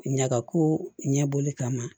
Ɲagako ɲɛbɔli kama